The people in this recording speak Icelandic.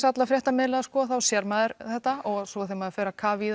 alla fréttamiðla þá sér maður þetta og svo þegar maður fer að kafa í